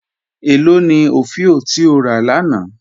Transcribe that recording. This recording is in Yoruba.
Ẹ lọ ni ofíò ti o rà lána?